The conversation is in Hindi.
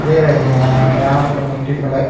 दे रहे हैं यहां पर मट्टी पल--